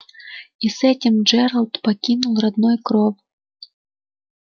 и с этим джералд покинул родной кров